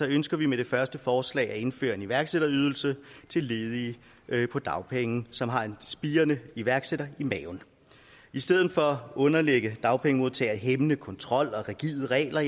ønsker vi med det første forslag at indføre en iværksætterydelse til ledige på dagpenge som har en spirende iværksætter i maven i stedet for at underlægge dagpengemodtagere hæmmende kontrol og rigide regler